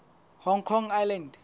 hong kong island